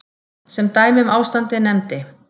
Sem dæmi um ástandið nefndi